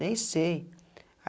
Nem sei.